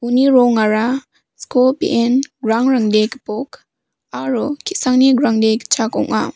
rongara sko be·en grangrangde gipok aro ki·sangni grangde gitchak ong·a.